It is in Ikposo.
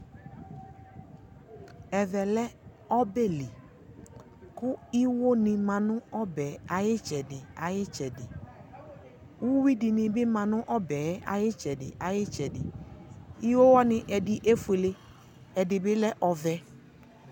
Ɛvɛ lɛ ɔbɛli kʋ iwo ni ma nʋ ɔbɛ yɛ ayʋ itsɛdι ayʋ itsɛdι Uwi dι nι bi ma nʋ ɔbɛ yɛ ayʋ itsɛdi ayʋ itsɛdι Iwowani ɛdι efuele, ɛdι bi lɛ ɔvɛ